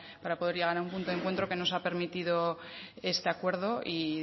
a un punto de encuentro que nos ha permitido este acuerdo y